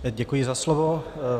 Děkuji za slovo.